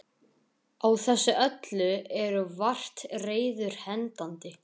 Á þessu öllu eru vart reiður hendandi.